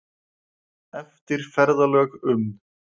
Eftir ferðalög um